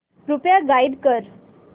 कृपया गाईड कर